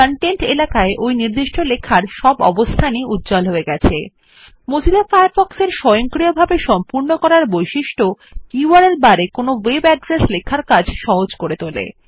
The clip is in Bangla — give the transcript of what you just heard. দেখুন কনটেন্ট এলাকায় ওই নির্দিষ্ট লেখার সব অবস্থান ই উজ্জ্বল হয়ে গেছে আমরা দেখব যে মোজিলা ফায়ারফক্স এর স্বয়ংক্রিয়ভাবে সম্পূর্ণ করার বৈশিষ্ট্য ইউআরএল বারে কোনও ওয়েব ঠিকানা লেখার কাজ সহজ করে তোলে